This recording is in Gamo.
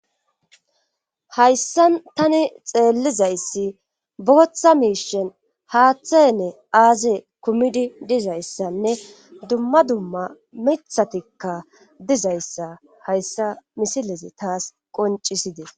hayssa tani xeellizayssi bootha miishen haaththanne aaze kumidi dizayssanne dumma dumma mithatikka dizayssa hayssa misilezi taas qoncisides